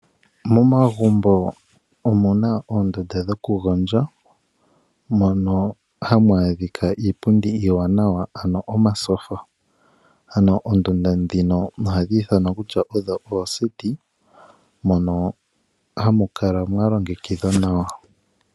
Momagumbo omuna oondundu dhoku gondja mono hamu adhika iipundi iiwanawa ano omatyofa noondunda ndhika ohadhi ithanwa kutya odho ooseti mono hamukala mwalogekidhwa nawa.